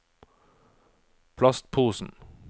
plastposen